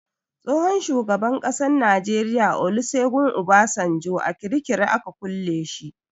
Tsohon shugaban ƙasan Najeriya Olusegun Obasanjo a kirikiri aka kulle shi.